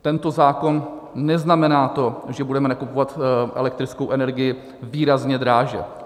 Tento zákon neznamená to, že budeme nakupovat elektrickou energii výrazně dráž.